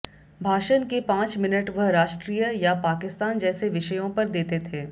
भाषण के पांच मिनट वह राष्ट्रीय या पाकिस्तान जैसे विषयों पर देते थे